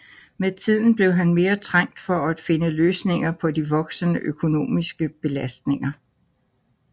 Med tiden blev han mere trængt for at finde løsninger på de voksende økonomiske belastninger